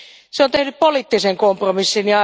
Se on tehnyt poliittisen kompromissin.